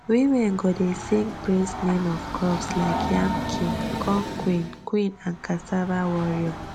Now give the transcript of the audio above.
women go dey sing praise name of crops like yam king corn queen queen and cassava warrior